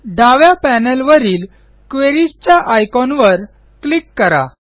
डाव्या पॅनेलवरील क्वेरीज च्या आयकॉनवर क्लिक करा